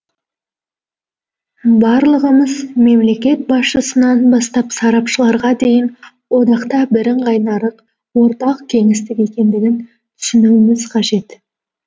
барлығымыз мемлекет басшысынан бастап сарапшыларға дейін одақта бірыңғай нарық ортақ кеңістік екендігін түсінуіміз қажет